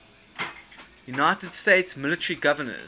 united states military governors